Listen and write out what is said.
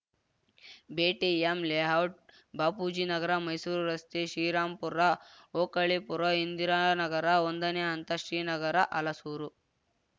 BTM layout Bapujinagar Mysuru ರಸ್ತೆ ಶ್ರೀರಾಂಪುರ ಓಕಳೀಪುರ ಇಂದಿರಾನಗರ ಒಂದನೇ ಹಂತ ಶ್ರೀನಗರ ಹಲಸೂರು